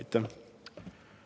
Aitäh!